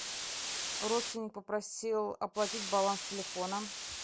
родственник попросил оплатить баланс телефона